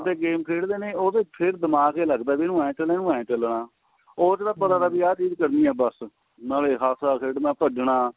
ਤੇ game ਖੇਡਦੇ ਨੇ ਉਹਦੇ ਫੇਰ ਦਿਮਾਗ ਤੇ ਲੱਗਦਾ ਵੀ ਉਹ ਇਹ ਚੱਲਣਾ ਉਹ ਇਹ ਚੱਲਣਾ ਉਹਦੇ ਨਾਲ ਪਤਾ ਵੀ ah ਚੀਜ ਕਰਨੀ ਏ ਬੱਸ ਨਾਲੇ ਹਸਨਾ ਖੇਡਣਾ ਭਜਣਾ